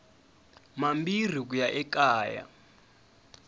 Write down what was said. mambirhi ku ya eka ya